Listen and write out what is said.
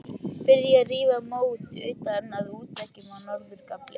Byrjað að rífa mót utan af útveggjum á norður gafli.